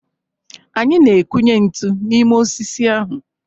Anyị na-ekunye ntu n'ime osisi ahụ